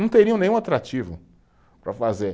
Não teriam nenhum atrativo para fazer.